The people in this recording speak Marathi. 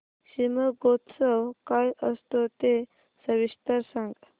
शिमगोत्सव काय असतो ते सविस्तर सांग